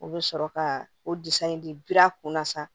U bɛ sɔrɔ ka o in di bira a kunna sa